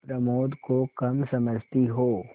प्रमोद को कम समझती हो